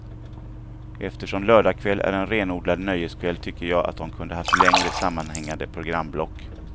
Eftersom lördagkväll är en renodlad nöjeskväll tycker jag jag att de kunde haft längre sammanhängande programblock.